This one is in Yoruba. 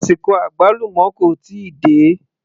Àsìkò àgbálùmọ́ kò tíì dé